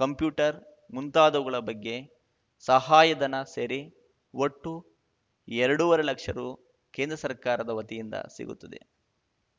computer ಮುಂತಾದವುಗಳ ಬಗ್ಗೆ ಸಹಾಯಧನ ಸೇರಿ ಒಟ್ಟು ಎರಡು ವರೆ ಲಕ್ಷ ರು ಕೇಂದ್ರ ಸರ್ಕಾರದ ವತಿಯಿಂದ ಸಿಗುತ್ತದೆ